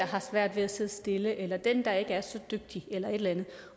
har svært ved at sidde stille eller den der ikke er så dygtig eller et eller andet